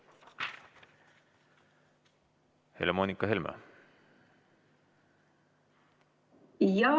Helle‑Moonika Helme!